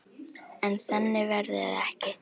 En þannig verður það ekki.